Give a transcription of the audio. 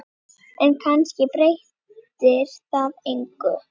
En kannski breytir það engu.